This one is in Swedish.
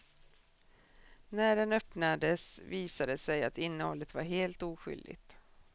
När den öppnades visade det sig att innehållet var helt oskyldigt.